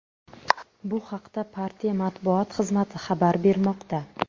Bu haqda partiya matbuot xizmati xabar bermoqda.